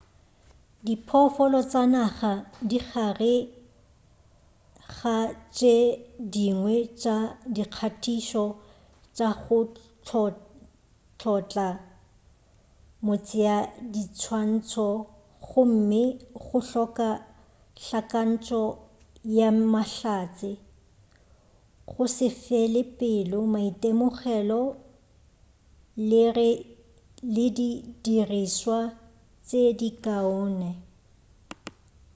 diphoofolo tša naga di gare ga tše dingwe tša dikgatišo tša go tlhotla motšeadiswantšho gomme go hloka hlakantšo ya mahlatse go se fele pelo maitemogelo le di dirišwa tše di kaone